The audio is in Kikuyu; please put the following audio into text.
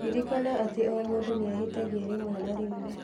Ririkana atĩ o mũndũ nĩ ahĩtagia rĩmwe na rĩmwe.